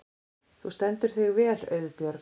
Þú stendur þig vel, Auðbjörg!